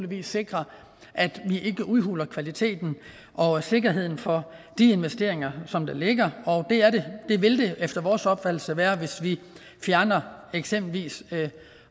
vi sikrer at vi ikke udhuler kvaliteten og sikkerheden for de investeringer som der ligger og det vil vi efter vores opfattelse gøre hvis vi fjerner eksempelvis